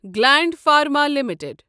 Gland Pharma limited